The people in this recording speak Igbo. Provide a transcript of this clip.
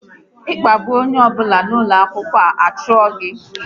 Kpagbuo onye ọ bụla n'ụlọ akwụkwọ, a chụọ gị!